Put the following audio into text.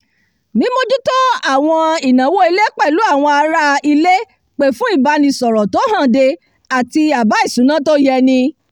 mímójútó àwọn ìnáwó ilé pẹ̀lú àwọn ará-ilé pè fún ìbánisọ̀rọ̀ tó hànde àti àbá ìṣúná tó yéni